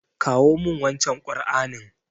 Kawo min wancen Ƙur'anin.